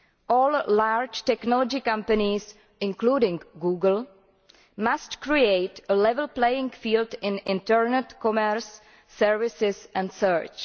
All large technology companies, including Google, must create a level playing field in internet commerce, services and search.